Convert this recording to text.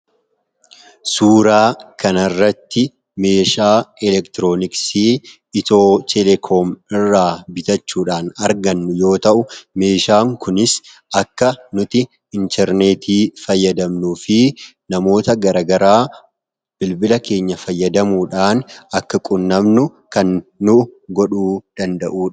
suuraa kanarratti meeshaa elektirooniksii itoo telekoom irraa bitachuudhaan argannu yoo ta'u meeshaan kunis akka nuti intarneetii fayyadamnuu fi namoota garagaraa bilbila keenya fayyadamuudhaan akka qunnamnu kan nu godhuu danda'udha.